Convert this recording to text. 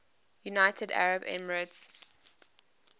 united arab emirates